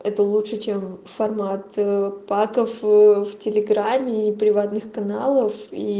это лучше чем в формат паков телеграме и приватных каналов и